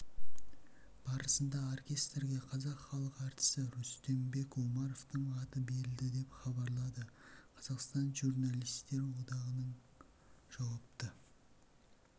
барысында оркестрге қазақ халық әртісі рүстембек омаровтың аты берілді деп хабарлады қазақстан журналистер одағының жауапты